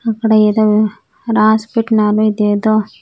అక్కడ ఏదో రాసి పెట్టినాను ఇదేదో.